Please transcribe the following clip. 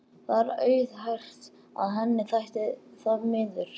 Það er auðheyrt að henni þætti það miður.